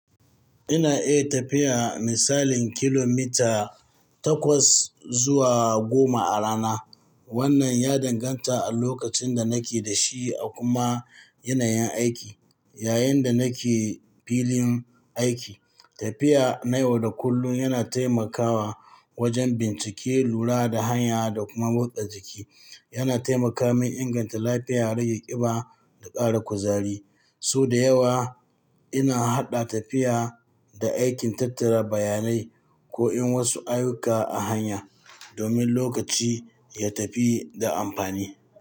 Ina iya tafiya misalin kilomita takwas zuwa goma a rana. Wannan ya danganta a lokacin da nake da shi a kuma yanayin aiki. Yayin da nake filin aiki, tafiya nayi wa da kullum yana taimakawa wajen bincike, lura da hanya da kuma motsa jiki. Yana taimaka min inganta lafiya, rage ƙiba da ƙara kuzari. So da yawa ina haɗa tafiya da aikin tattara bayanai ko yin wasu ayyuka a hanya domin lokaci ya tafi da amfani.